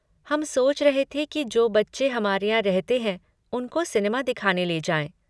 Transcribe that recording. हम सोच रहे थे कि जो बच्चे हमारे यहाँ रहते हैं उनको सिनेमा दिखाने ले जाएँ।